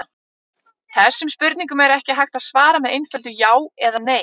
Þessum spurningum er ekki hægt að svara með einföldu já eða nei.